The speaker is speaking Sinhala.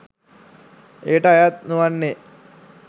එයට අයත් නොවන්නේ,